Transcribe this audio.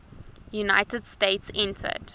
united states entered